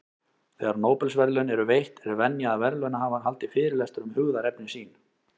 Þegar Nóbelsverðlaun eru veitt, er venja að verðlaunahafar haldi fyrirlestur um hugðarefni sín.